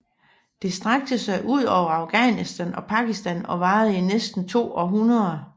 Det strakte sig over Afghanistan og Pakistan og varede i næsten to århundreder